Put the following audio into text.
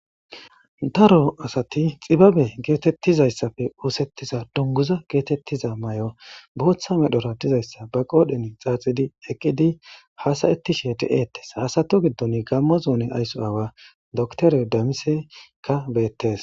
Daro asati xibabe geetettizaysappe oothettiza dunguza geetettiza mayo bootha Medhora be qoodhen xaaxidi eqqidi haasa7etishe ha asata giddon gaammo zoone ayso aawa dokiter damiseyikka beettees.